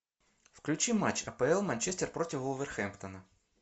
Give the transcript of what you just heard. включи матч апл манчестер против вулверхэмптона